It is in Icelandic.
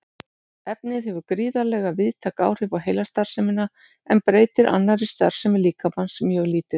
Efnið hefur gríðarlega víðtæk áhrif á heilastarfsemina en breytir annarri starfsemi líkamans mjög lítið.